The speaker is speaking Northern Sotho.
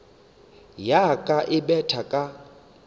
ya ka e betha ka